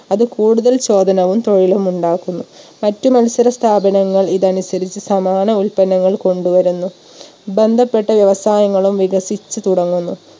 അത് കൂടുതൽ ചോദനവും തൊഴിലും ഉണ്ടാക്കുന്നു. മറ്റ് മത്സര സ്ഥാപനങ്ങൾ ഇതനുസരിച്ച് സമാന ഉത്പന്നങ്ങൾ കൊണ്ടുവരുന്നു ബന്ധപ്പെട്ട വ്യവസായങ്ങളും വികസിച്ച് തുടങ്ങുന്നു.